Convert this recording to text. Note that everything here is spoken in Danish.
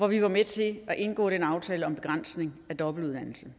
vi var med til at indgå den aftale om en begrænsning af dobbeltuddannelser